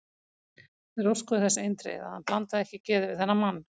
Þeir óskuðu þess eindregið, að hann blandaði ekki geði við þennan mann.